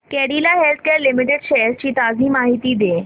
Cadila Healthcare Limited shares ची ताजी माहिती दे